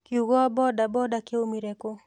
Kiugo Boda Boda kĩoimire kũ?